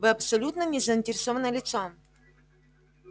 вы абсолютно не заинтересованное лицо